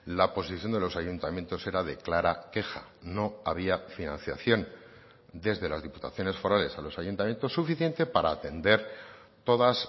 la posición de los ayuntamientos era de clara queja no había financiación desde las diputaciones forales a los ayuntamientos suficiente para atender todas